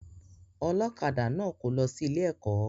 Ọlọ́kadà náà kò lọ sí ilé ẹ̀kọ́